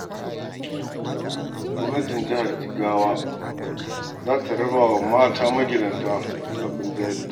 Gwamnatin jihar Jigawa za ta rabawa mata magidanta tallafin jari.